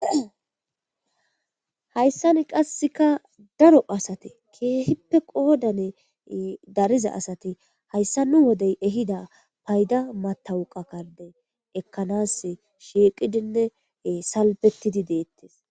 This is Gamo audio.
Haysan qasekka daro assati ke'ipoe qodani dariza assati hayssa nu wodey ehidda payda matwuqa karde ekanassi shiiqidinne salfetidi detees